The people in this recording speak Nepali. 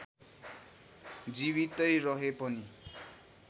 जीवितै रहे पनि